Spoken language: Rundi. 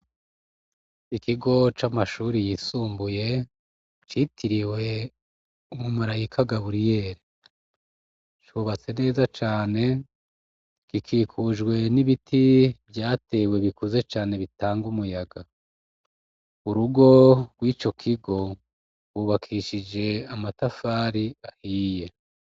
Ikigo c'amashuri yisumbuye citiriwe umumarayika gaburiyeli cubatse neza cane gikikujwe n'ibiti vyatewe bikuze cane bitanga umuyaga urugo rw'ico kigo bubakishije amatafari ahiye.